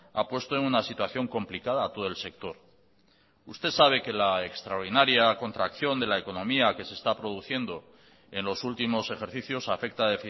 ha puesto en una situación complicada a todo el sector usted sabe que la extraordinaria contracción de la economía que se está produciendo en los últimos ejercicios afecta